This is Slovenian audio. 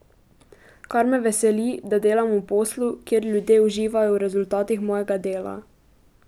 Kar me veseli, da delam v poslu, kjer ljudje uživajo v rezultatih mojega dela.